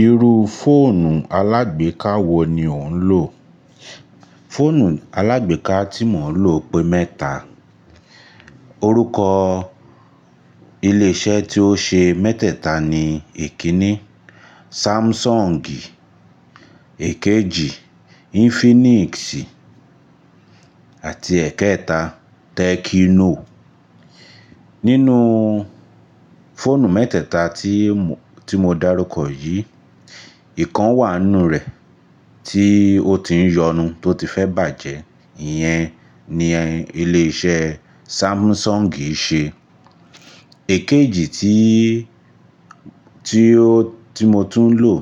Irú fóònù alágbèká wo ni ò ń lò? Fóònù alágbèká tí mò ń lò pé mẹ́ta. Orúkọ ilé iṣẹ́ tí ó ṣe mẹ́tẹ̀ta ni ikínní Samsung, èèkejì Infinix àti ẹ̀kẹẹ̀ta Tecno. Nínú fóònù mẹ́tẹ̀ta tí mó, tí mo darúkọ yìí, ìkan wà nínú rẹ̀ tí ó ti ń yọnu, tó ti fẹ́ bàjẹ́, ìyẹn ni iléṣé Samsung ṣe. Èkejì tí, tí ó, tí mo tún lò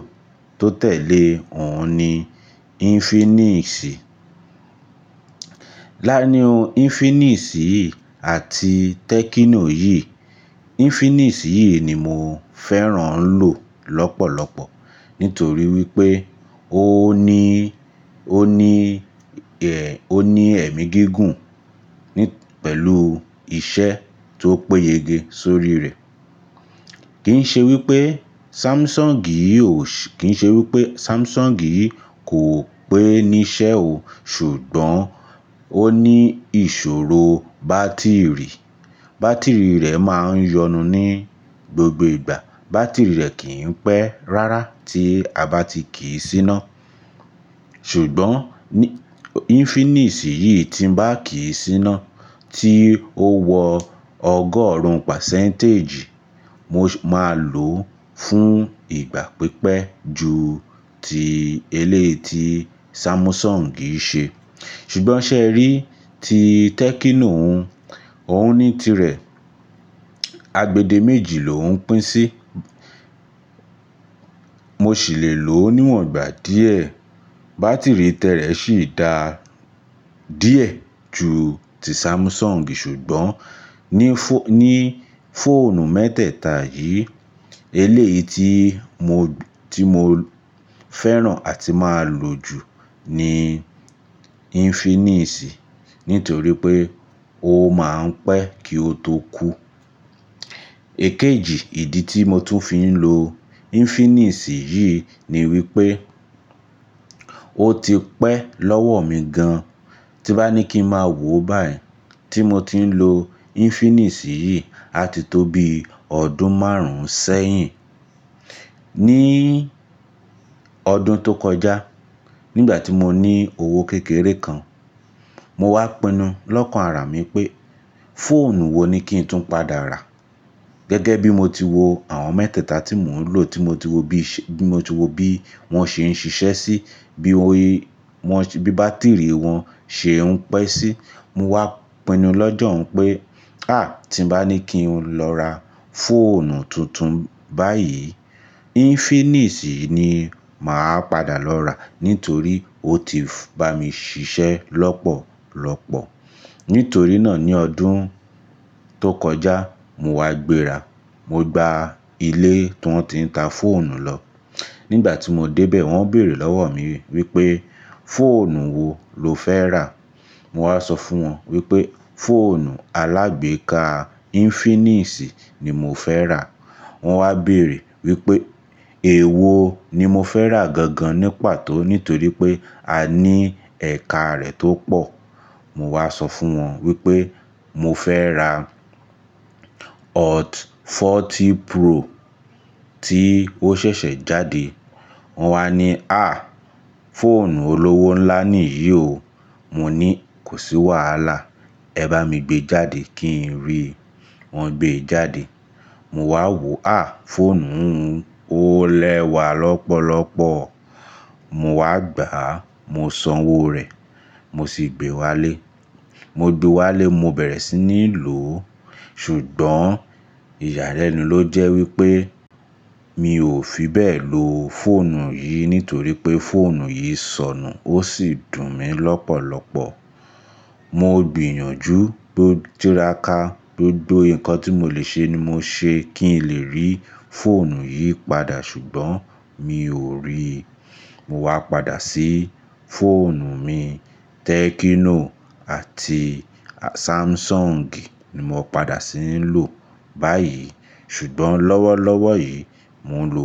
tó tẹ̀lé òun ni Infinix. Láàríín Infinix yìí àti Tecno yìí, Infinix yìí ni mò fẹ́ràn ń lò lọ́pọ̀lọpọ̀ nítorí wípé ó ní, ó ní, ó ní ẹ̀mí gígùn pẹ̀lú iṣẹ́ tó péyege sórí rẹ̀. Kì ń ṣe wípé Samsung yìí ó, kì ń ṣe wípé Samsung yìí kò pé ni iṣẹ́ o, ṣùgbọ́n ó ní ìṣòro bátìrì. Bátìrì rẹ̀ máa ń yọnu ní gbogbo ìgbà. Bátìrì rẹ̀ kìí pẹ́ rárá tí a bá ti kíì síná. Ṣùgbọ́n Infinix yìí tí ń bá kíì síná, tí ó wọ ọgọ́rùn-ún pásẹ́ǹtéjì, mo máa lò ó fún ìgbà pípẹ́ ju ti eléyìí ti Samsung ṣe. Ṣùgbọ́n ṣẹ̀ rí, ti Tecno un, òun ní tirẹ̀, agbẹ́dẹ méjì ló ouń pín sí. Mò sì lè lò níwọ̀n gbà díẹ̀. Bátìrì ti rẹ̀ sì da díẹ̀ ju ti Samsung. Ṣùgbọ́n ní, ní fóònù mẹ́tẹ̀ta yìí, eléyìí tí mó, tí mo fẹ́ràn àti máa lò jù ni Infinix nítorí pé ó máa ń pẹ́ kí ó tó kú. Èkejì ìdí tí mo tún fi ń lo Infinix yìí ni wípé ó ti pẹ́ lọ́wọ́ mi gan. Tí bá ní kí ń máa wò báyìí, tí mo ti ń lo Infinix yìí àti tó bi ọdún márùn-ún sẹ́yìn. Ní ọdún tó kọjá, nígbà tí mo ní owó kékeré kan, mo wá pinu lọ́kàn ara mi pé, fóònù wo ni kí n tún padà rà? Gẹ́gẹ́ bí mo ti wo àwọn mẹ́tẹ̀ta tí mò ń lò, tí mo ti wo bí, tí mo ti wo bí wọ́n ṣe ń ṣiṣẹ́ sí, bí wọ́n, bí bátìrì wọn ṣe ń pẹ́ sí, mo wá pinu lọ́jọ̀ún pé, à! Tí bá ní kí n lọ ra fóònù tuntun báyìí, Infinix ni màá padà lọrà nítorí ó ti bá mi ṣiṣẹ́ lọ́pọ̀lọpọ̀. Nítorí náà ní ọdún tó kọjá, mo wá gbéra, mo gba ilé tiwọn ti ta fóònù lọ. Nígbà tí mo dé bẹ̀, wọ́n béèrè lọ́wọ́ mi wípé, fóònù wo lo fẹ́ rà? Mo wá sọ fún wọn wípé, fóònù alágbèká Infinix ni mo fẹ́ rà. Wọn wá béèrè wípé, èwo ni mo fẹ́ rà gangan ní pàtó nítorí pé a ní ẹ̀karẹ̀ tó pọ̀. Mo wá sọ fún wọn wípé, mo fẹ́ ra Hot 40 Pro tí ó ṣẹ̀ṣẹ̀ jáde. Wọn wá ní, "à! Fóònù olówó ńlá niyìí o". Mo ní, kò sí wàhálà, ẹ bá mi gbé jáde kí n ríi. Wọn gbé jáde. Mo wá wò ó, à! Fóònù òún o rẹ́wà lọ́pọ̀lọpọ̀. Mo wá gbá, mo san owó rẹ̀, mo sì gbé Wálé. Mo gbe wálé, mo bẹ̀rẹ̀ sí ní lò. Ṣùgbọ́n ìyàlẹ́nu ló jẹ́ wípé, mi ò fi bẹ́ẹ̀ lo fóònù yìí nítorí pé fóònù yìí sọnù ó sì dùn mí lọ́pọ̀lọpọ̀. Mo gbìyànjú mó tírákà, gbogbo nǹkan tí mo le ṣe ni mo ṣe kí n lè rí fóònù yìí padà ṣùgbọ́n mi ò ríi. Mo wá padà sí fóònù mi Tecno àti Samsung ni mo padà sí ń lò báyìí. Ṣùgbọ́n lọ́wọ́lọ́wọ́ yìí, mò ń lo.